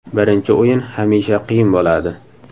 Birinchi o‘yin hamisha qiyin bo‘ladi.